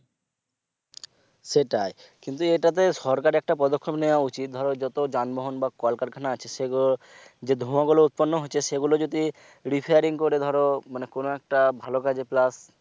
সেটাই কিন্তু এটাতে সরকার একটা পদক্ষেপ নেয়া উচিত ধরো যত যানবাহনের কলকারখানা আছে সেগুলো যে ধোয়া গুলো উৎপন্ন হচ্ছে সেগুলো যদি repairing করে ধরো মানে কোন একটা ভাল কাজে plus